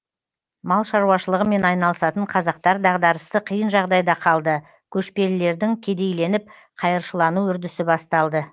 мал шаруашылығымен айналысатын қазақтар дағдарысты қиын жағдайда калды көшпелілердің кедейленіп қайыршылану үрдісі басталды